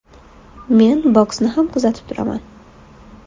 Men boksni ham kuzatib turaman.